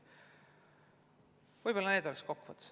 Võib-olla nii palju kokkuvõtteks.